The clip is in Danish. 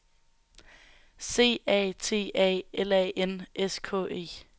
C A T A L A N S K E